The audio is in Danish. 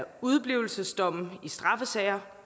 udeblivelsesdomme i straffesager